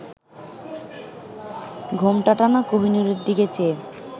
ঘোমটা টানা কোহিনূরের দিকে চেয়ে